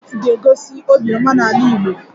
Kola nut ga-egosi obiọma n'ala Igbo